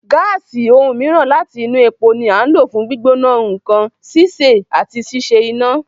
Gáàsì, ohun mìíràn láti inú epo, ni à ń lò fún gbígbóná nǹkan, sísè, àti ṣíṣe iná.